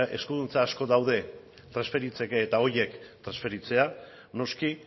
eskuduntza asko daude transferitzeko eta horiek transferitzea noski